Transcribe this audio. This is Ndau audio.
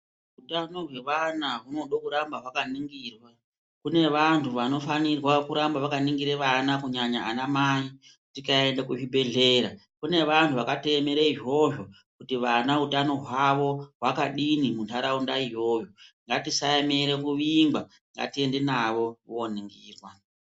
Uthano hwevana hunode kuramba hwakaningirwa. Kune vanthu vanofanire kuramba vakaningire vana kunyanya ana mai. Tikaende kuzvibhehlera kune vanthu vakatoemere izvizvo kuti vana uthano hwawo hwakadini muntharaunda iyoyo. Ngatisaemere kuvingwa, ngatiende navo kooningirwa.